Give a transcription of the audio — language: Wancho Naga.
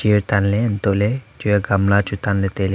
iya tanle antole chair gamla chu tanle taile.